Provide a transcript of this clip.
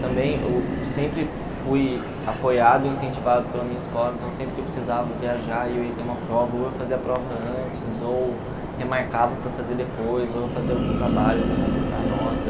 Também, eu sempre fui apoiado e incentivado pela minha escola, então sempre que eu precisava viajar e eu ia ter uma prova, ou eu fazia a prova antes, ou remarcava para fazer depois, ou eu fazia algum trabalho para completar a nota.